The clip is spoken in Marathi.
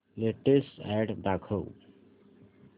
लेटेस्ट अॅड दाखव